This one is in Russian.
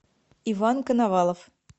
иван коновалов